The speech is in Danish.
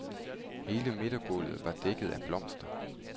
Hele midtergulvet var dækket af blomster.